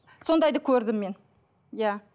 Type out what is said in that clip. сондайды көрдім мен иә